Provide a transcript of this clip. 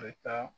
A bɛ taa